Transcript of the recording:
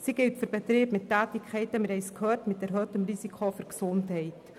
Sie gilt für Betriebe mit Tätigkeiten mit erhöhtem Risiko für die Gesundheit.